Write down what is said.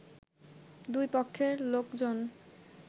দুই পক্ষের লোকজন